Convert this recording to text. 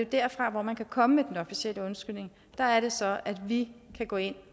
derfra man kan komme med den officielle undskyldning og der er det så at vi kan gå ind